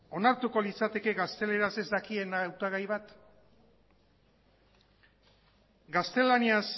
onartuko litzateke gazteleraz ez dakien hautagai bat gaztelaniaz